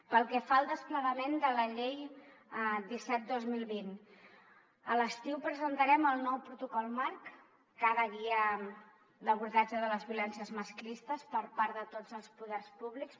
pel que fa al desplegament de la llei disset dos mil vint a l’estiu presentarem el nou protocol marc que ha de guiar l’abordatge de les violències masclistes per part de tots els poders públics